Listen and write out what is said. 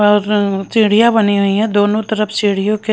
और सीढ़ियां बनी हुई हैं दोनों तरफ सीढ़ियों के--